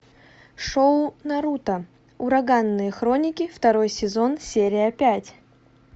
шоу наруто ураганные хроники второй сезон серия пять